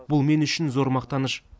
бұл мен үшін зор мақтаныш